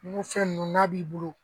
N ko fɛn ninnu n'a b'i bolo